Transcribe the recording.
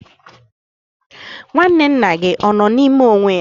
Nwanne nna gị ọ nọ n'ime onwe ya?